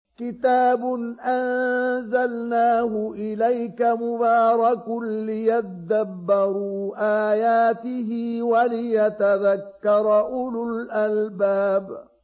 كِتَابٌ أَنزَلْنَاهُ إِلَيْكَ مُبَارَكٌ لِّيَدَّبَّرُوا آيَاتِهِ وَلِيَتَذَكَّرَ أُولُو الْأَلْبَابِ